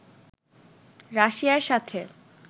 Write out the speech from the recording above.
রাশিয়ার সাথে